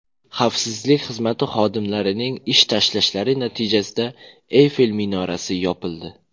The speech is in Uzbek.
Xavfsizlik xizmati xodimlarining ish tashlashlari natijasida Eyfel minorasi yopildi.